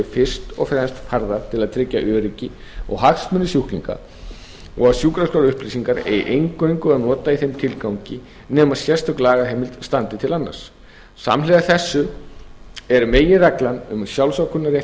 fyrst og fremst hafðar til að tryggja öryggi og hagsmuni sjúklinga og sjúkraskrárupplýsingar eigi eingöngu að nota í þeim tilgangi nema sérstök lagaheimild standi til annars samhliða þessu er meginreglan um sjálfsákvörðunarrétt